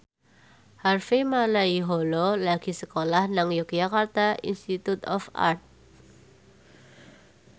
Harvey Malaiholo lagi sekolah nang Yogyakarta Institute of Art